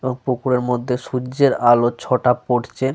ও পুকুরের মধ্যে সূর্যের আলোর ছটা পড়ছে।